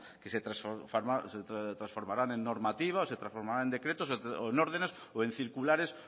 ese caso se transformaran en normativa o se transformaran en decretos o en ordenes o en circular